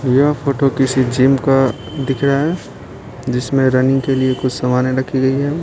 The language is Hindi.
यह फोटो किसी जिम का दिख रहा है जिसमें रनिंग के लिए कुछ समानें रखी गई है।